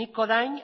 nik orain